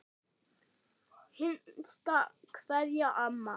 HINSTA KVEÐJA Amma.